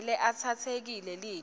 avele atsatsekele lite